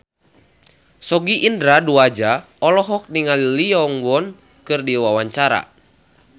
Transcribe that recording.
Sogi Indra Duaja olohok ningali Lee Yo Won keur diwawancara